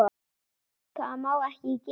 Það má ekki gerast.